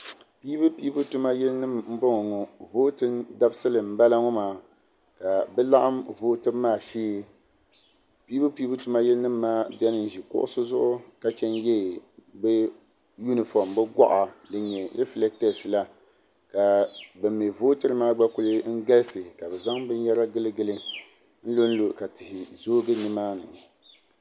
Piibupiibu tuma yilinima n bɔŋɔ ŋɔ. vootin dabsili n balaŋɔ maa kabɛlaɣim vootibu maa shee. piibupiibu tuma yili maa beni n ʒi kuɣisi zuɣu ka ye bɛ goɣa din nyɛ refiles la ka banmi vootirimaa kuli galisi ʒaya kabi zan bɛn yara n lɔnlɔ n gili luɣili kam